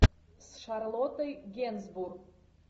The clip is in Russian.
с шарлоттой генсбур